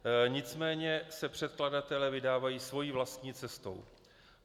Nicméně se předkladatelé vydávají svou vlastní cestou.